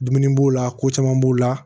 Dumuni b'o la ko caman b'o la